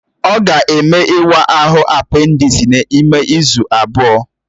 Ọ ga-eme ịwa ahụ apendisi n'ime izu abụọ